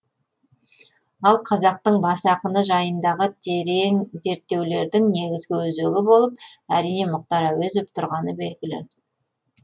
ал қазақтың бас ақыны жайындағы терең зерттеулердің негізгі өзегі болып әрине мұхтар әуезов тұрғаны белгілі